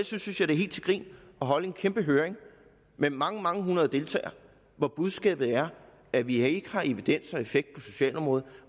synes jeg det er helt til grin at holde en kæmpe høring med mange mange hundrede deltagere hvor budskabet er at vi ikke har evidens for effekt på socialområdet